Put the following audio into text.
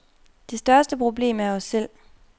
Det største problem er os selv.